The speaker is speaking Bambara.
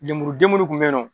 Lemuruden munnu kun bɛ ye